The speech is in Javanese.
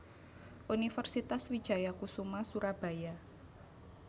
Universitas Wijaya Kusuma Surabaya